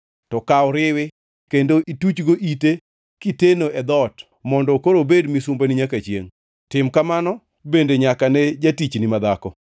to kaw riwi kendo ituchgo ite kiteno e dhoot mondo koro obed misumbani nyaka chiengʼ tim kamano bende nyaka ne jatichni madhako.